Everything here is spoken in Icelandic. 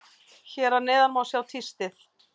Hér að neðan má sjá tístið.